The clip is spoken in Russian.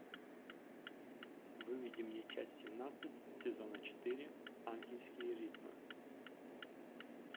выведи мне часть семнадцать сезона четыре ангельские ритмы